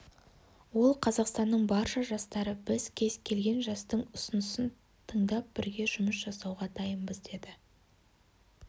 ол қазақстанның барша жастары біз кез келген жастың ұсынысын тыңдап бірге жұмыс жасауға дайынбыз деді